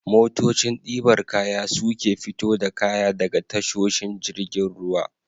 Motocin ɗibar kaya su ke fito da kaya daga tashoshin jiragen ruwa.